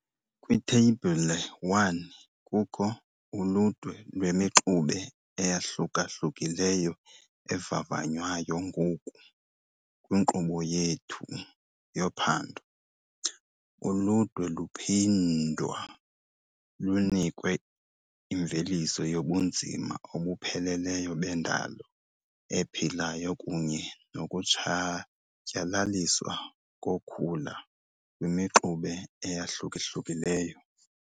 Kwitheyibhile 1 kukho uludwe lwemixube eyahluka-hlukileyo evavanywayo ngoku kwinkqubo yethu yophando. Uludwe luphindwa lunikwe imveliso yobunzima obupheleleyo bendalo ephilayo kunye nokutshatyalaliswa kokhula kwimixube eyahluka-hlukileyo.